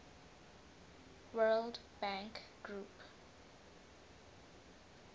world bank group